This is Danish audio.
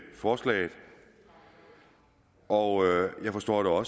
forslaget og jeg forstår